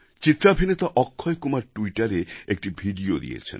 চিত্রাভিনেতা অক্ষয়কুমার ট্যুইটারে একটি ভিডিও দিয়েছেন